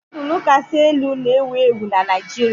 Nudulu kasị elu na-ewu ewu na Naijiria.